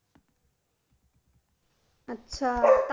আচ্ছা!